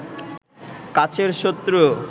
কাছের শত্রু